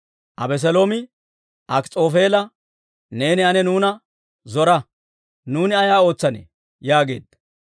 Abeseeloomi Akis'oofeela, «Neeni ane nuuna zora; nuuni ay ootsanne?» yaageedda.